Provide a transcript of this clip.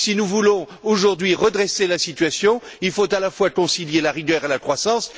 Si nous voulons aujourd'hui redresser la situation, il faut à la fois concilier la rigueur et la croissance.